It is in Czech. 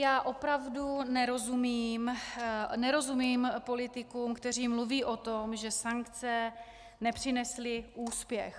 Já opravdu nerozumím politikům, kteří mluví o tom, že sankce nepřinesly úspěch.